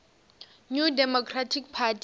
new democratic party